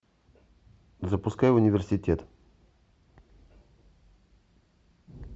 запускай университет